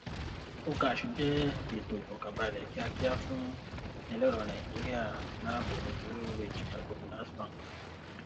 okash jẹ ètò ìfọkànbálẹ kíákíá fún ẹlẹrọ nàìjíríà láàbọ blue ridge microfinance bank